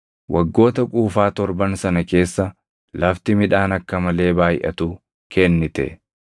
Waggoota quufaa torban sana keessa lafti midhaan akka malee baayʼatu kennite.